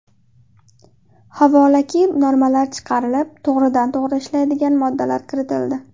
Havolaki normalar chiqarilib, to‘g‘ridan to‘g‘ri ishlaydigan moddalar kiritildi.